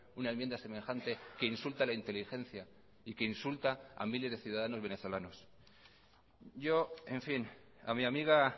una enmienda semejante que insulta a la inteligencia y que insulta a miles de ciudadanos venezolanos yo en fin a mi amiga